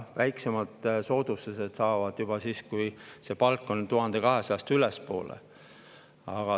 Väiksema soodustuse saab juba siis, kui palk on 1200 eurost suurem.